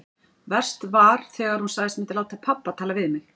Verst var þegar hún sagðist myndu láta pabba tala við mig.